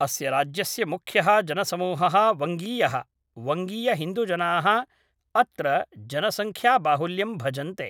अस्य राज्यस्य मुख्यः जनसमूहः वङ्गीयः, वङ्गीयहिन्दुजनाः अत्र जनसङ्ख्याबाहुल्यं भजन्ते।